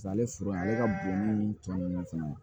Ale foro ye ale ka bonni tɔ ninnu fana ye